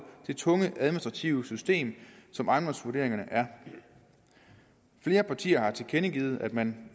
det tunge administrative system som ejendomsvurderingerne er flere partier har tilkendegivet at man